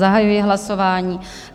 Zahajuji hlasování.